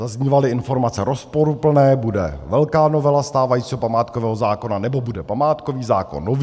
Zaznívaly informace rozporuplné - bude velká novela stávajícího památkového zákona nebo bude památkový zákon nový.